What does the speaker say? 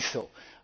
Das ist so.